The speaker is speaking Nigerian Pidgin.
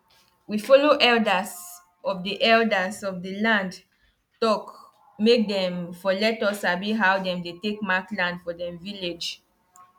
this new beans no dey allow insects worry am and e dey bring flower fast so flower fast so farming no too long.